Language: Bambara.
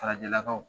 Farajɛlakaw